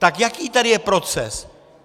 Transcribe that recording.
Tak jaký tady je proces?